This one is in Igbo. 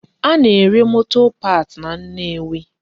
A na-ere motor parts na Nnewi